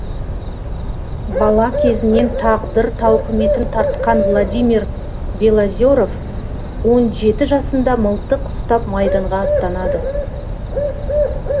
бала кезінен тағдыр тауқыметін тартқан владимир белозеров он жеті жасында мылтық ұстап майданға аттанады